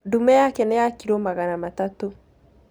Ndume yake nĩ ya kilo magana matatũ